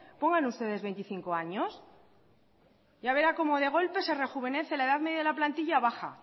pongan ustedes veinticinco años ya verá como de golpe se rejuvenece y la edad media de la plantilla baja